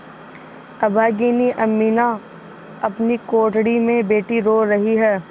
अभागिनी अमीना अपनी कोठरी में बैठी रो रही है